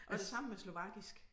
Og det samme med slovakisk